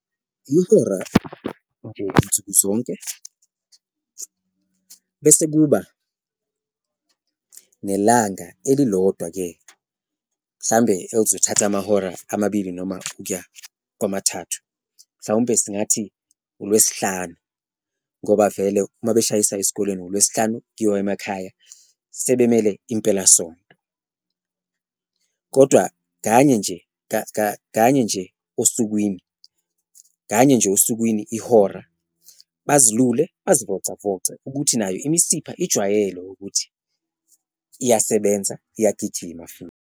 Ihora nje nsuku zonke bese kuba nelanga elilodwa-ke mhlawumbe elizothatha amahora amabili noma ukuya kwamathathu, mhlawumbe singathi uLwesihlanu ngoba vele uma beshayisa esikoleni ngoLwesihlanu kuyiwa emakhaya, sebelimele impelasonto. Kodwa kanye nje kanye nje osukwini, kanye nje osukwini ihora bazilule, bazivocavoce ukuthi nayo imisipha ijwayele ukuthi iyasebenza, iyagijima futhi.